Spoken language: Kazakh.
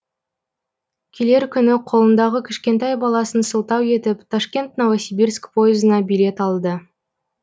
келер күні қолындағы кішкентай баласын сылтау етіп ташкент новосибирск поезына билет алды